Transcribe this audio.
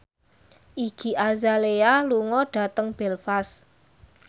Iggy Azalea lunga dhateng Belfast